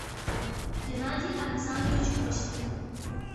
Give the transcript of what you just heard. геннадий александрович оськин